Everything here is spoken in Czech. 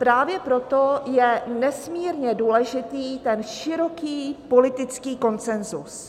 Právě proto je nesmírně důležitý ten široký politický konsenzus.